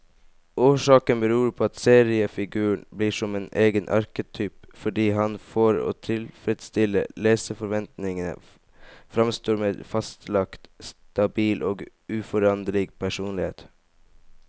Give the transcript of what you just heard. Årsaken beror på at seriefiguren blir som egen arketyp, fordi han for å tilfredstille leserforventningen framstår med fastlagt, stabil og uforanderlig personlighet.